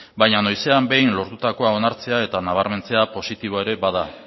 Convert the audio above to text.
baina noizean behin lortutakoa onartzea eta nabarmentzea positiboa ere bada